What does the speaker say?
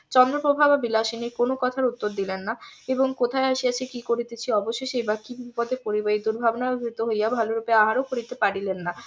চন্দ্রপ্রভা ও বিলাসিনীর কোনো কথার উত্তর দিলেন না এবং কোথায় আসিয়াছি কি করিতেছি অবশেষে বা কি বিপদে পরিব এই দুর্ভাবনায় ভীত হইয়া ভালো রূপে আহারও করিতে পারিলেন না